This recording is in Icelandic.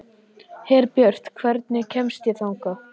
Herbjört, hvernig kemst ég þangað?